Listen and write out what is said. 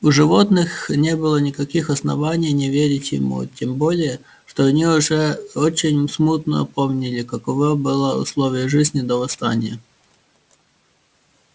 у животных не было никаких оснований не верить ему тем более что они уже очень смутно помнили каково было условия жизни до восстания